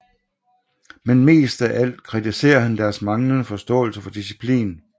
Men mest af alt kritiserer han deres manglende forståelse for disciplin